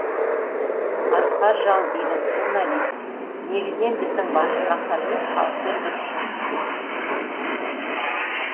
асқар жалдинов журналист негізінен біздің басты мақсатымыз халықпен дұрыс жұмыс істеу